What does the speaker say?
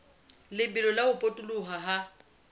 lebelo la ho potoloha ha